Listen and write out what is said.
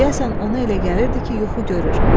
Deyəsən ona elə gəlirdi ki, yuxu görür.